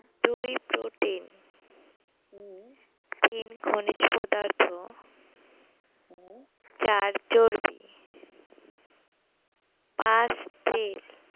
দুই protein তিন খনিজ পদার্থ চার চর্বি পাঁচ